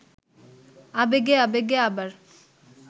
আবেগে আবেগে আবার